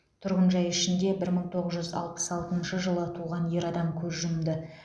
тұрғын жай ішінде бір мың тоғыз жүз алпыс алтыншы жылы туған ер адам көз жұмды